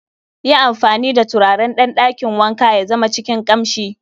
yi amfani da turaren dan dakin wanka ya zama cikin kamshi